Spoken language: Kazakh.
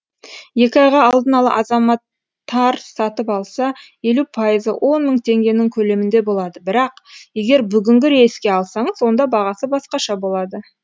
екі айға алдын ала азаматтар сатып алса елу пайызы он мың теңгенің көлемінде болады бірақ егер бүгінгі рейске алсаңыз онда бағасы басқаша болады